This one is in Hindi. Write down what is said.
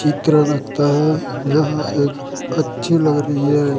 चित्र लगता है यहां ये अच्छी लग रही है।